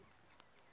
kala ku nga ri ka